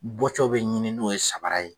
Bɔcɔ bɛ ɲini n'o ye sabara ye.